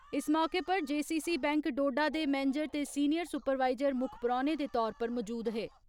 इस मौके उप्पर जेसीसी बैंक डोडा दे मैनेजर ते सीनियर सुपरवाइज़र मुक्ख परौने दे तौर उप्पर मजूद हे।